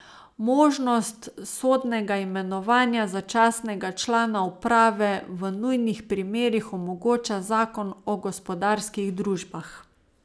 Možnost sodnega imenovanja začasnega člana uprave v nujnih primerih omogoča zakon o gospodarskih družbah.